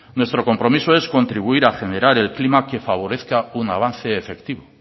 nuestro compromiso es contribuir a generar el clima que favorezca un avance efectivo